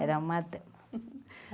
Era uma dama.